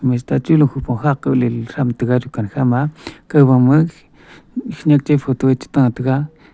mister chu lukhupong khakaw leley thram taiga rukan khama kawbama khenyak che photo che ta taiga .